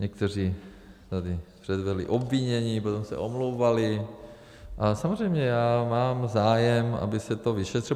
Někteří tady předvedli obvinění, potom se omlouvali, ale samozřejmě já mám zájem, aby se to vyšetřilo.